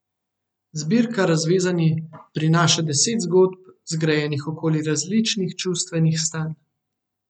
Zbirka Razvezani prinaša deset zgodb, zgrajenih okoli različnih čustvenih stanj.